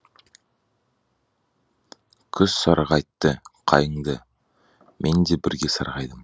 күз сарғайтты қайыңды мен де бірге сарғайдым